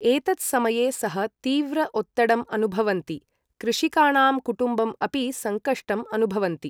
एतद् समये सः तीव्र ओत्तडम् अनुभवन्ति कृषिकाणां कुटुम्बम् अपि संकष्टम् अनुभवन्ति ।